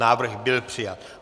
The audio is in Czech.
Návrh byl přijat.